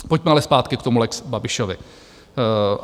Pojďme ale zpátky k tomu lex Babišovi.